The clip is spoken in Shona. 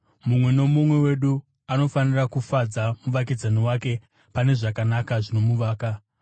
Mumwe nomumwe wedu anofanira kufadza muvakidzani wake pane zvakanaka, zvinomuvaka.